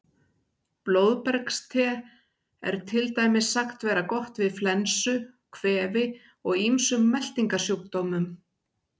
Blóðbergste er til dæmis sagt vera gott við flensu, kvefi og ýmsum meltingarsjúkdómum.